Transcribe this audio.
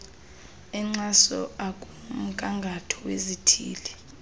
enkxaso akumgangatho wezithili